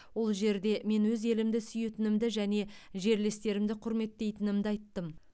ол жерде мен өз елімді сүйетінімді және жерлестерімді құрметтейтінімді айттым